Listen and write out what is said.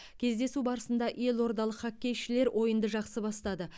кездесу барысында елордалық хоккейшілер ойынды жақсы бастады